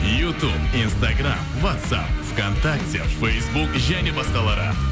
ютуб инстаграмм уатсап в контакте фейсбук және басқалары